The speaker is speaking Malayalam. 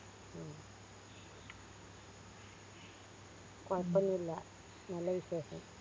ഉം കൊയപ്പൊന്നുല്ല നല്ല വിശേഷം